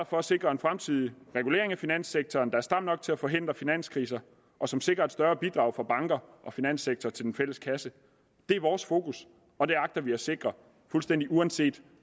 for at sikre en fremtidig regulering af finanssektoren der er stram nok til at forhindre finanskriser og som sikrer et større bidrag fra banker og finanssektoren til den fælles kasse det er vores fokus og det agter vi at sikre uanset